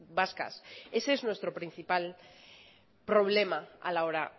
vascas ese es nuestro principal problema a la hora